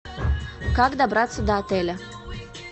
как добраться до отеля